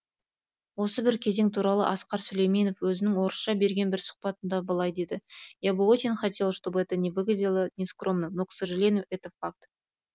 осы бір кезең туралы асқар сүлейменов өзінің орысша берген бір сұхбатында былай дейді я бы очень хотел чтобы это не выглядело не скромным но к сожалению это факт